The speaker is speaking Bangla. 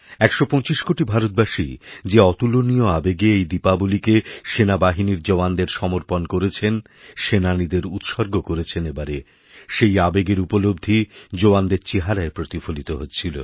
১২৫ কোটি ভারতবাসী যে অতুলনীয় আবেগে এই দীপাবলিকেসেনাবাহিনীর জওয়ানদের সমর্পণ করেছেন সেনানীদের উৎসর্গ করেছেন এবারে সেই আবেগেরউপলব্ধি জোয়ানদের চেহারায় প্রতিফলিত হচ্ছিল